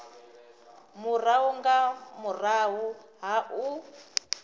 murahu nga murahu ha u